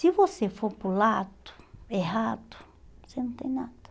Se você for para o lado errado, você não tem nada.